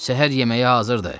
Səhər yeməyi hazırdır.